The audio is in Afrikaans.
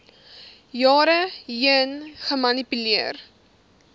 jare heen gemanipuleer